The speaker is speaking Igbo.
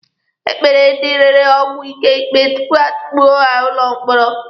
E kpere ndị rere ọgwụ ike ikpe tupu a tukpuo ha n'ụlọ mkpọrọ.